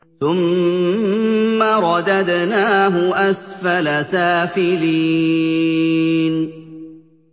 ثُمَّ رَدَدْنَاهُ أَسْفَلَ سَافِلِينَ